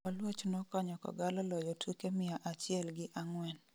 olouch nokonyo kogalo loyo tuke mia achiel gi ang'wen